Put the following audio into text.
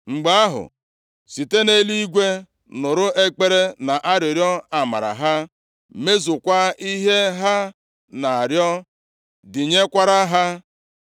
mgbe ahụ, site nʼeluigwe nụrụ ekpere na arịrịọ amara ha, mezukwa ihe ha na-arịọ (dịnyekwara ha).